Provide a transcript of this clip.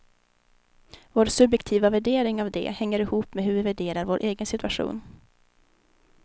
Vår subjektiva värdering av det hänger ihop med hur vi värderar vår egen sitution.